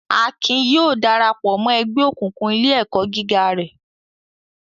Akin yóò dara pọ̀ mọ́ ẹgbẹ́ òkùnkùn ilé-ẹ̀kọ́ gíga rẹ̀.